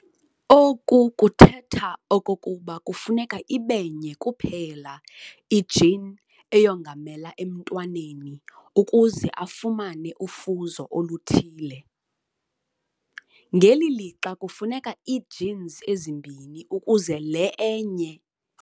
Oku kuthetha okokuba kufuneka ibenye kuphela i-gene eyongamelayo emntwaneni ukuze afumane ufuzo oluthile, ngeli lixa kufuneka ii-genes ezimbini ukuze le inye i-gene ikwazi ukwenzeka.